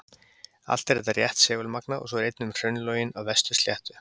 Allt er þetta rétt segulmagnað og svo er einnig um hraunlögin á Vestur-Sléttu.